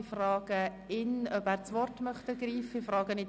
Ich frage Grossrat Köpfli, ob er das Wort ergreifen möchte.